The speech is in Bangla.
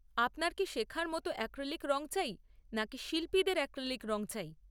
আপনার কি শেখার মতো অ্যাক্রিলিক রঙ চাই নাকি শিল্পীদের অ্যাক্রিলিক রঙ চাই?